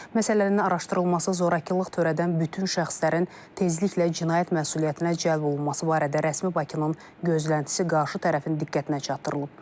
Məsələnin araşdırılması, zorakılıq törədən bütün şəxslərin tezliklə cinayət məsuliyyətinə cəlb olunması barədə rəsmi Bakının gözləntisi qarşı tərəfin diqqətinə çatdırılıb.